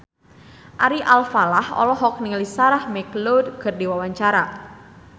Ari Alfalah olohok ningali Sarah McLeod keur diwawancara